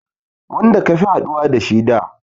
Wanda ka fi haɗuwa da